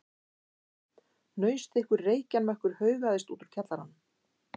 Hnausþykkur reykjarmökkur haugaðist út úr kjallaranum.